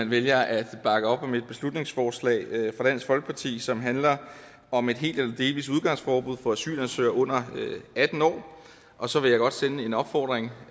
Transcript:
vælger at bakke op om et beslutningsforslag fra dansk folkeparti som handler om et helt eller delvist udgangsforbud for asylansøgere under atten år og så vil jeg godt sende en opfordring